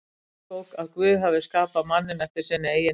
Mósebók að Guð hafi skapað manninn eftir sinni eigin mynd.